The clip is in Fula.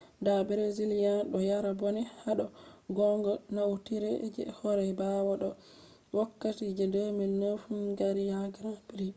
da brazillian do yara bone hado gonga naunitere je hore bawa be do’ii wokkati je 2009 hungarian grand prix